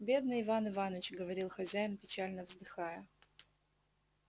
бедный иван иваныч говорил хозяин печально вздыхая